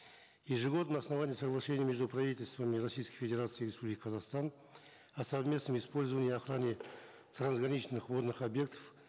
ежегодно на основании соглашений между правительствами российской федерации и республики казахстан о совместном использовании и охране трансграничных водных объектов